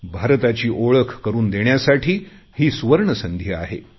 भारताची ओळख करुन देण्यासाठी ही सुवर्णसंधी आहे